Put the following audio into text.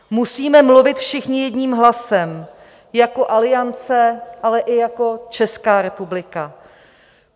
Musíme mluvit všichni jedním hlasem jako Aliance, ale i jako Česká republika.